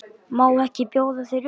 Má ekki bjóða þér öl?